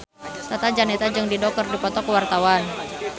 Tata Janeta jeung Dido keur dipoto ku wartawan